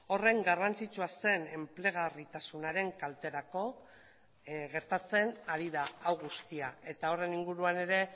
horren garrantzitsua zen enplegarritasunaren kalterako gertatzen ari da hau guztia eta horren inguruan ere